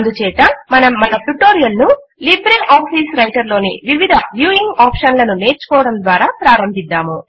అందుచేత మనం మన ట్యుటోరియల్ ను లిబ్రే ఆఫీస్ రైటర్ లోని వివిధ వ్యూయింగ్ ఆప్షన్ల ను నేర్చుకోవటం ద్వారా ప్రారంభిద్దాము